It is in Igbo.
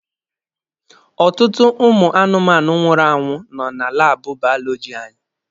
Ọtụtụ ụmụ anụmanụ nwụrụ anwụ nọ na laabụ baọlọjị anyị.